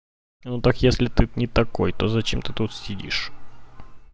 ну так если ты не такой то зачем ты тут сидишь